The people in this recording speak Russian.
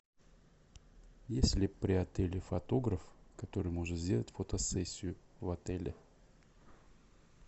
есть ли при отеле фотограф который может сделать фотосессию в отеле